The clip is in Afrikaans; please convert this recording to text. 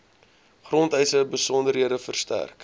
grondeise besonderhede verstrek